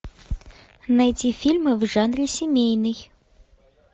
найти фильмы в жанре семейный